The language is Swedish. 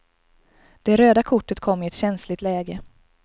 Det röda kortet kom i ett känsligt läge.